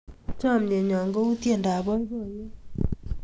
Chamyenyo ko u tiendap boiboiyet